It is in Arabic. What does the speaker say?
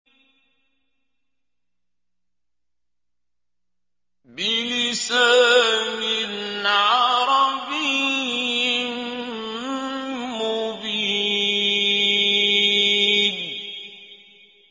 بِلِسَانٍ عَرَبِيٍّ مُّبِينٍ